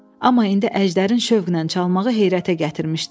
Amma indi Əjdərin şövqlə çalmağı heyrətə gətirmişdi onu.